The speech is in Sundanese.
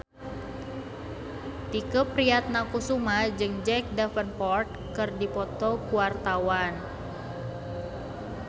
Tike Priatnakusuma jeung Jack Davenport keur dipoto ku wartawan